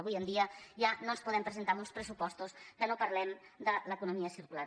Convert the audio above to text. avui en dia ja no ens podem presentar amb uns pressupostos que no parlem de l’economia circular